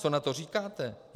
Co na to říkáte?